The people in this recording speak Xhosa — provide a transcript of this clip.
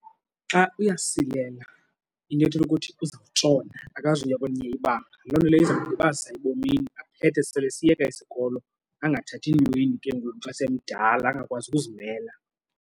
Xa uyasilela into ethetha ukuthi uza kutshona akazuya kwelinye ibanga. Loo nto leyo iza kumlibazisa ebomini aphethe sele esiyeka isikolo angathathi ntweni ke ngoku xa semdala angakwazi ukuzimela.